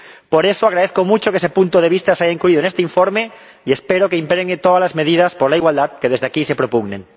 Por eso, agradezco mucho que ese punto de vista se haya incluido en este informe y espero que impregne todas las medidas por la igualdad que desde aquí se propugnen.